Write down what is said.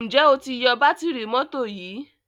njé o tí yó Bátìrì mọ́tò yí?